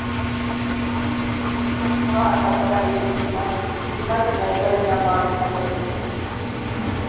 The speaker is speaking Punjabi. ਹੁਣ ਸਾਡਾ ਵੱਡਾ ਜਿੱਦਾਂ ਕਿੰਨਾ ਚੰਗਾ ਸੀ ਕਦੇ ਨਾ ਮਾੜੀ ਨਾ ਕਦੇ ਚੰਗੀ